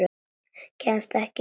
Kemst ekki ein og óstudd!